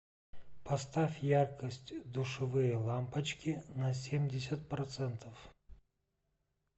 поставь яркость душевые лампочки на семьдесят процентов